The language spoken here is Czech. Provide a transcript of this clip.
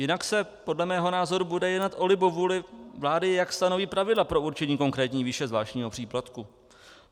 Jinak se podle mého názoru bude jednat o libovůli vlády, jak stanoví pravidla pro určení konkrétní výše zvláštního příplatku.